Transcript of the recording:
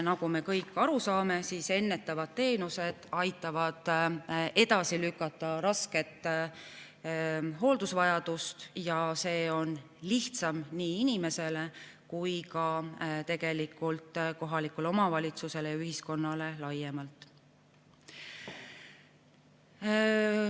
Nagu me kõik aru saame, aitavad ennetavad teenused edasi lükata rasket hooldusvajadust ja see on lihtsam nii inimesele kui tegelikult ka kohalikule omavalitsusele ja ühiskonnale laiemalt.